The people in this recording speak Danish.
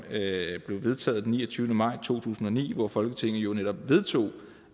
blev vedtaget den niogtyvende maj to tusind og ni hvor folketinget jo netop vedtog